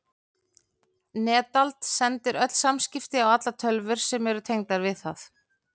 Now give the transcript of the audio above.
Netald sendir öll samskipti á allar tölvur sem eru tengdar við það.